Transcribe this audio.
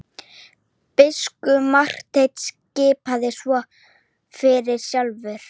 Biskup Marteinn skipar svo fyrir sjálfur!